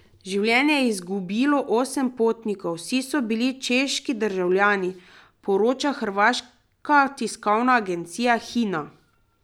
Življenje je izgubilo osem potnikov, vsi so bili češki državljani, poroča hrvaška tiskovna agencija Hina.